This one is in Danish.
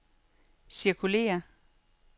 cirkulér